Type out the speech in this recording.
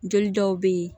Joli dɔw be ye